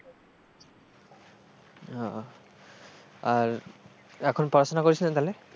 ও আর এখন পড়াশোনা করিস না তাহলে?